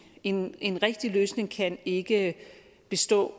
en en rigtig løsning kan ikke bestå